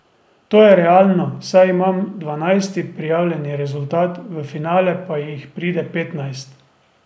To je realno, saj imam dvanajsti prijavljeni rezultat, v finale pa jih pride petnajst.